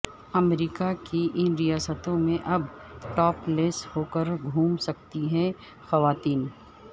امریکہ کی ان ریاستوں میں اب ٹاپ لیس ہوکر گھوم سکتی ہیں خواتین